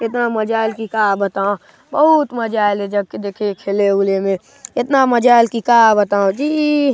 इतना मजा अऐल के का बताओ बहुत मजा आइले एजग के देखे खेले उले ले इतना मजा अऐल की का बताव जी ।